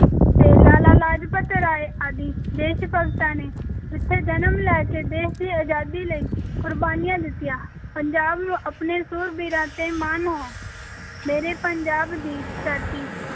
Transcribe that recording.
ਤੇ ਲਾਲਾ ਲਾਜਪਤ ਰਾਏ ਆਦਿ ਦੇਸ-ਭਗਤਾਂ ਨੇ ਇੱਥੇ ਜਨਮ ਲੈ ਕੇ ਦੇਸ਼ ਦੀ ਅਜ਼ਾਦੀ ਲਈ ਕੁਰਬਾਨੀਆਂ ਦਿੱਤੀਆਂ, ਪੰਜਾਬ ਨੂੰ ਆਪਣੇ ਸੂਰਬੀਰਾਂ ‘ਤੇ ਮਾਣ ਹੈ ਮੇਰੇ ਪੰਜਾਬ ਦੀ ਧਰਤੀ